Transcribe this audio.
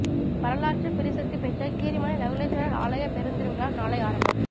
வரலாற்றுப் பிரசித்தி பெற்ற கீரிமலை நகுலேஸ்வரர் ஆலயப் பெருந் திருவிழா நாளை ஆரம்பம்